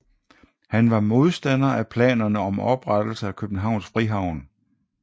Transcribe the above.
Han var modstander af planerne om oprettelse af Københavns Frihavn